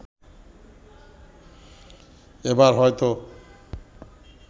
এবার হয়তো